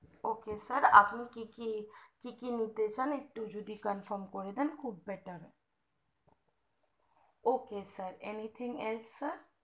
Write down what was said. ok sir আপনি কি কি নিতে চান একটু যদি confirm করে দেন খুব better ok sir anything else sir